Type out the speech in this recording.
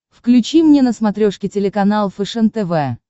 включи мне на смотрешке телеканал фэшен тв